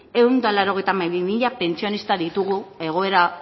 ehun eta laurogeita hamabi mila pentsionista ditugu egoera